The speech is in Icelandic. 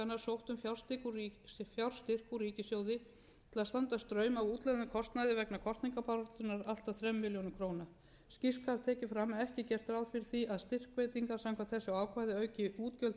straum af útlögðum kostnaði vegna kosningabaráttunnar allt að þrem milljónum króna skýrt skal tekið fram að ekki er gert ráð fyrir því að styrkveitingar samkvæmt þessu ákvæði auki útgjöld ríkissjóðs